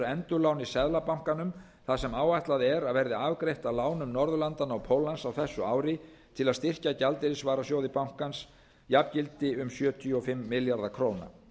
endurláni seðlabankanum það sem áætlað er að verði afgreitt af lánum norðurlandanna og póllands á þessu ári til að styrkja gjaldeyrisvarasjóð bankans jafngildi um sjötíu og fimm milljarða króna